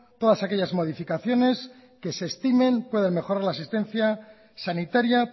todas aquellas modificaciones que se estimen pueden mejorar la asistencia sanitaria